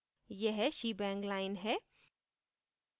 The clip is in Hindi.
यह shebang line है